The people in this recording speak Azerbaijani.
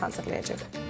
Yəni krep hazırlayacağıq.